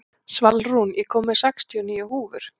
Svalrún, ég kom með sextíu og níu húfur!